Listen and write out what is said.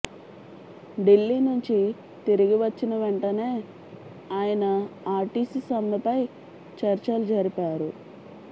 ఢిల్లీ నుంచి తిరిగి వచ్చిన వెంటనే ఆయన ఆర్టీసి సమ్మెపై చర్చలు జరిపారు